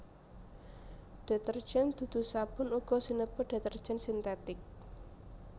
Detergen dudu sabun uga sinebut detergen sintetik